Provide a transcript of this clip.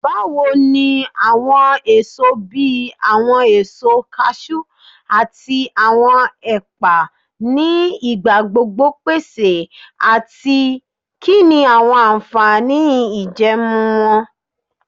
Bawo ni awọn eso bi awọn eso cashew ati awọn epa ni igbagbogbo pese ati kini awọn anfani ijẹẹmu wọn?